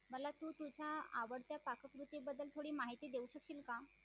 मला तू तुझ्या आवडत्या पाककृति बद्दल थोड़ी माहिती देऊ शकशील का?